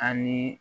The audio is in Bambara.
Ani